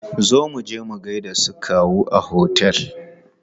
Zo muje mu gaida su kawu a otel!